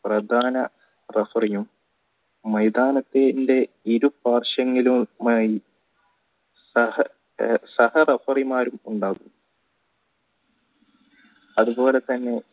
പ്രധാന referee യും മൈതാനത്തിണ്ടേ ഇരു അത് പോലെ തന്നെ